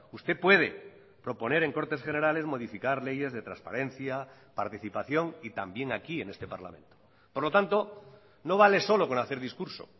usted puede proponer en cortes generales modificar leyes de transparencia participación y también aquí en este parlamento por lo tanto no vale solo con hacer discurso